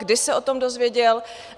Kdy se o tom dozvěděl?